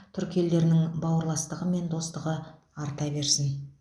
түркі елдерінің бауырластығы мен достастығы арта берсін